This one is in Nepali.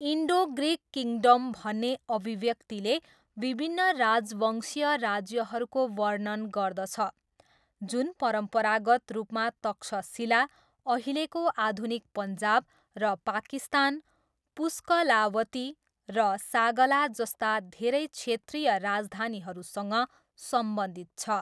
इन्डो ग्रिक किङ्डम भन्ने अभिव्यक्तिले विभिन्न राजवंशीय राज्यहरूको वर्णन गर्दछ, जुन परम्परागत रूपमा तक्षशिला, अहिलेको आधुनिक पन्जाब र पाकिस्तान, पुस्कलावती र सागाला जस्ता धेरै क्षेत्रीय राजधानीहरूसँग सम्बन्धित छ।